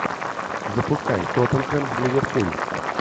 запускай тоттенхэм ливерпуль